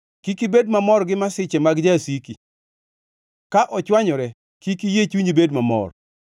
Kik ibed mamor gi masiche mag jasiki, ka ochwanyore, kik iyie chunyi bed mamor;